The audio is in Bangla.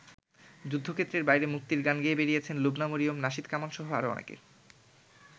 যুদ্ধক্ষেত্রের বাইরে মুক্তির গান গেয়ে বেরিয়েছেন লুবনা মরিয়ম, নাশিদ কামালসহ আরও অনেকে।